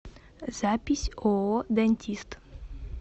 запись ооо дантист